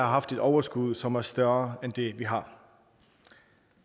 haft et overskud som er større end det vi har